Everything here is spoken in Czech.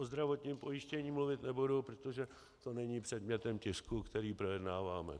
O zdravotním pojištění mluvit nebudu, protože to není předmětem tisku, který projednáváme.